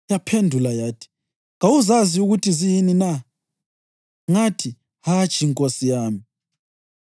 Yaphendula yathi, “Kawuzazi ukuthi ziyini na?” Ngathi, “Hatshi, nkosi yami.”